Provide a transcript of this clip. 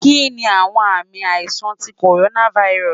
Kini awọn aami aisan ti coronavirus